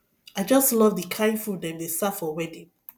i just love the kin food dem dey serve for wedding